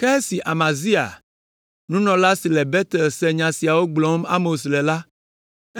Ke esi Amazia, nunɔla si le Betel se nya siwo gblɔm Amos le la,